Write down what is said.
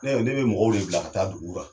Ne , ne bi mɔgɔw de bila ka taa duguw la.